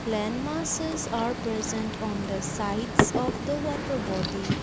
land masses are present on the sides of the water body.